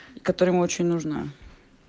которая ему очень нужна